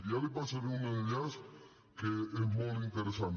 ja li passaré un enllaç que és molt interessant